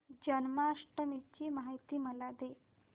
जन्माष्टमी ची माहिती मला दे